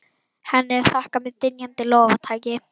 Henni er þakkað með dynjandi lófataki.